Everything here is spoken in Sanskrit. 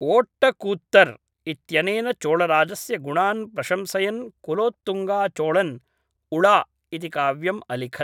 ओट्टकूत्तर् इत्यनेन चोळराजस्य गुणान् प्रशंसयन् कुलोत्तुङ्गा चोळन् उळा इति काव्यम् अलिखत्